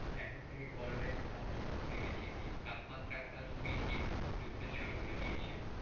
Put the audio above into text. এখন থেকে গরমের কিন্তু আভাস টা ঘুরে গেছে তাপমাত্রা আপনার ত্রিশ degree উঠতে উঠতে শুরু করে দিয়েছে।